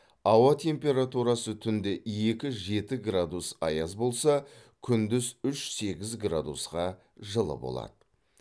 ауа температурасы түнде екі жеті градус аяз болса күндіз үш сегіз градусқа жылы болады